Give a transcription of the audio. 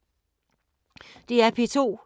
DR P2